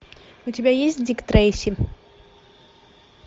у тебя есть дик трейси